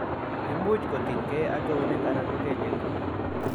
Imuch kotinygei ak eunek anan ko kelyek